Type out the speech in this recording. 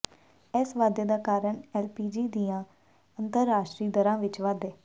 ਇਸ ਵਾਧੇ ਦਾ ਕਾਰਨ ਐਲਪੀਜੀ ਦੀਆਂ ਅੰਤਰਰਾਸ਼ਟਰੀ ਦਰਾਂ ਵਿਚ ਵਾਧੇ